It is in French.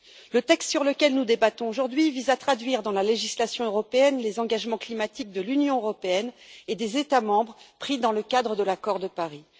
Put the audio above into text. Le texte dont nous débattons aujourd'hui vise à traduire dans la législation européenne les engagements climatiques que l'Union et les États membres ont pris dans le cadre de l'accord de Paris.